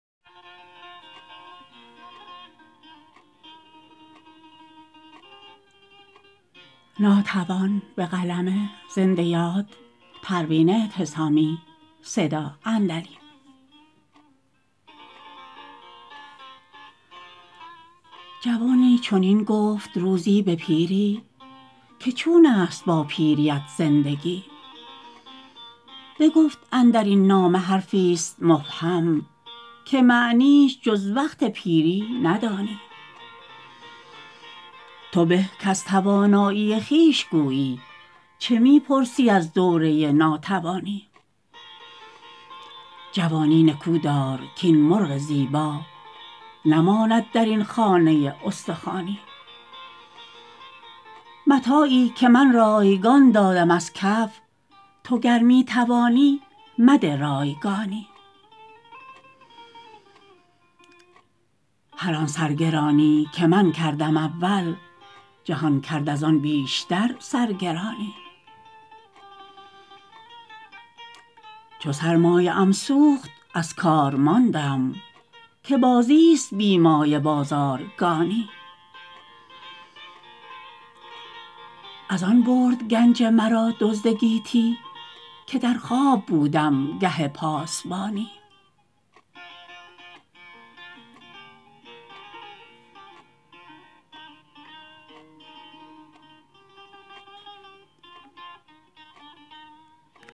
جوانی چنین گفت روزی به پیری که چون است با پیریت زندگانی بگفت اندرین نامه حرفی است مبهم که معنیش جز وقت پیری ندانی تو به کز توانایی خویش گویی چه میپرسی از دوره ناتوانی جوانی نکودار کاین مرغ زیبا نماند در این خانه استخوانی متاعی که من رایگان دادم از کف تو گر میتوانی مده رایگانی هر آن سرگرانی که من کردم اول جهان کرد از آن بیشتر سرگرانی چو سرمایه ام سوخت از کار ماندم که بازی است بی مایه بازارگانی از آن برد گنج مرا دزد گیتی که در خواب بودم گه پاسبانی